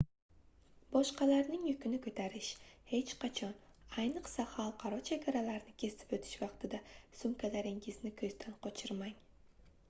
boshqalarning yukini koʻtarish hech qachon ayniqsa xalqaro chegaralarni kesib oʻtish vaqtida sumkalaringizni koʻzdan qochirmang